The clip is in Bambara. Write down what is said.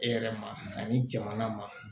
E yɛrɛ ma ani jamana ma